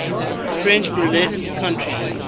french basque country